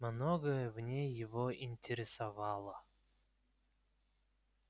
многое в ней его интересовало